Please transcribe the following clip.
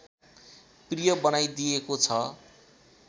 प्रिय बनाइदिएको छ